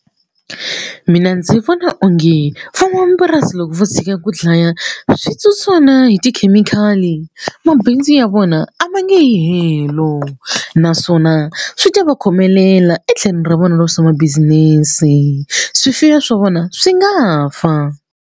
Mina ndzi vona onge van'wamapurasi loko vo tshika ku dlaya switsotswana hi tikhemikhali mabindzu ya vona a va nge yi helo naswona swi ta va khomelela etlhelweni ra vona ra swa ma-business swifuwo swa vona swi nga fa.